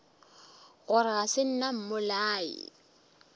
gore ga se nna mmolai